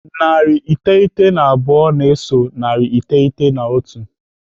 Narị iteghete na abụọ na-eso narị iteghete na otu.